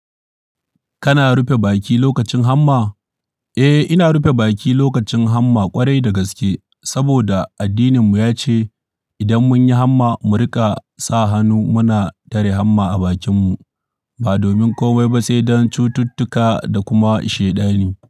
Kana rufe baki lokacin hamma? Eh, ina rufe baki lokacin hamma ƙwarai da gaske. Saboda addininmu ya ce idan mun yi hamma mu rika sa hannu muna tare hamma a bakinmu ba domin komai ba, sai don cututtuka da kuma shaiɗani ne.